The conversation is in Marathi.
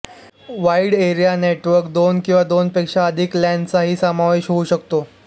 वाइड एरिया नेटवर्क दोन किंवा दोनपेक्षा अधिक लॅन चाही समावेश होऊ शकतो